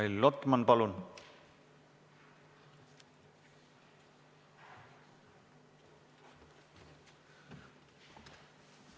Mihhail Lotman, palun!